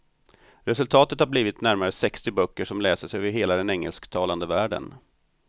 Resultatet har blivit närmare sextio böcker som läses över hela den engelsktalande världen.